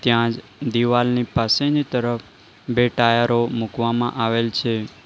ત્યાં દિવાલની પાસેની તરફ બે ટાયરો મૂકવામાં આવેલ છે.